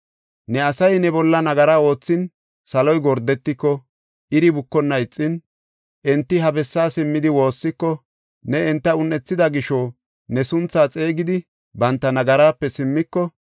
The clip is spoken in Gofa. “Ne asay ne bolla nagaraa oothin, saloy gordetiko, iri bukonna ixin, enti ha bessaa simmidi, woossiko ne enta un7ethida gisho, ne sunthaa xeegidi, banta nagaraape simmiko,